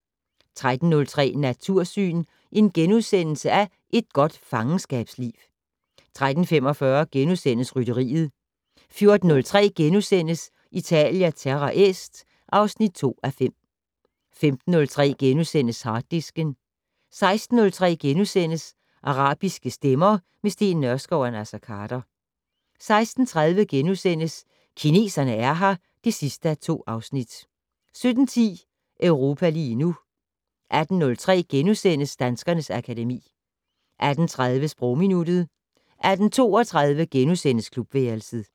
13:03: Natursyn: Et godt fangenskabsliv * 13:45: Rytteriet * 14:03: Italia Terra Est (2:5)* 15:03: Harddisken * 16:03: Arabiske stemmer - med Steen Nørskov og Naser Khader * 16:30: Kineserne er her (2:2)* 17:10: Europa lige nu 18:03: Danskernes akademi * 18:30: Sprogminuttet 18:32: Klubværelset *